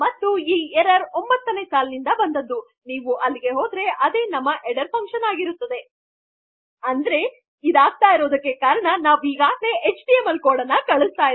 ಮತ್ತು ಈ ಎರ್ರರ್ ಅನ್ನು ತೋರಿಸಿದು ೯ನೇ ಲೈನ್ ನೀವು ಅಲ್ಲಿಗೆ ಹೋದರೆ ಅದು ನಮ್ಮ ಹೆಡ್ಡರ್ ಫಂಕ್ಷನ್ ಅಂದರೆ ಇದು ಆಗುತ್ತಿರುವುದಕ್ಕೆ ಕಾರಣ ಎಂದರೆ ನಾವು ಈಗಾಗಲೆ ಕಳುಹಿಸುತ್ತಿರುವ ನಮ್ಮ ಎಚ್ಟಿಎಮ್ಎಲ್ ಕೊಡ್ಗಳು